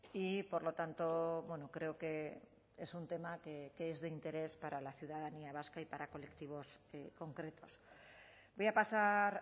y por lo tanto creo que es un tema que es de interés para la ciudadanía vasca y para colectivos concretos voy a pasar